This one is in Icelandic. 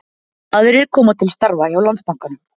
Aðrir koma til starfa hjá Landsbankanum